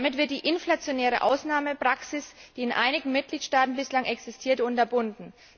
Damit wird die inflationäre Ausnahmepraxis, die in einigen Mitgliedstaaten bislang existiert, unterbunden.